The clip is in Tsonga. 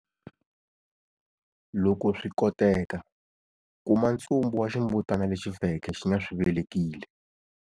Loko swi koteka, kuma ntsumbu wa ximbutana lexi feke xi nga swi velekile.